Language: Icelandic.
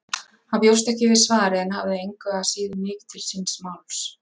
Hann bjóst ekki við svari en hafði engu að síður mikið til síns máls.